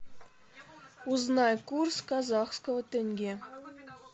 узнай курс казахского тенге